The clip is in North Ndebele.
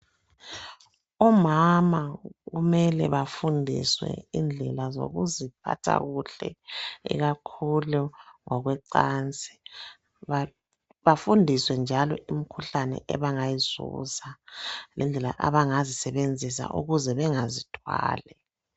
Omama kumele bafundiswe indlela zokuziphatha kuhle, ikakhulu ngokwecansi, bafundiswe njalo imkhuhlane abangayizuza, lendlela abangazisebenzisa ukuze bengazithwali.